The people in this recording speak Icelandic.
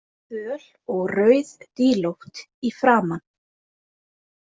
Föl og rauðdílótt í framan.